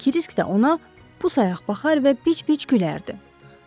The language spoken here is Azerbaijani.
Krisk də ona pus-ayaq baxar və bic-bic gülərdi.